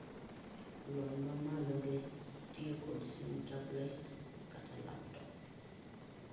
lony mamalo ge tiyo kod simu tablets kata laptop